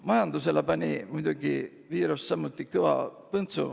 Majandusele pani viirus samuti kõva põntsu.